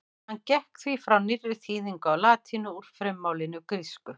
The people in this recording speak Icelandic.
Hann gekk því frá nýrri þýðingu á latínu úr frummálinu grísku.